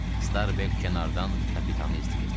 Starbek kənardan kapitanı izləyirdi.